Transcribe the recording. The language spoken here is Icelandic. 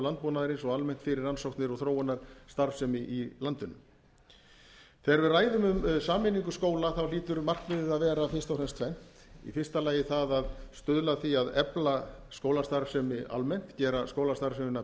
landbúnaðarins og almennt fyrir rannsóknir og þróunarstarfsemi í landinu þegar við ræðum um sameiningu skóla hlýtur markmiðið að vera fyrst og fremst tvennt í fyrsta lagi það að stuðla að því að efla skólastarfsemi almennt gera skólastarfsemina